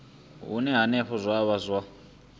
hune henefho zwa vha zwa